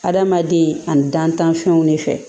Adamaden ani dantanfɛnw de fɛ